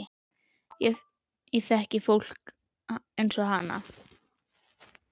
Ég þekki fólk eins og hana.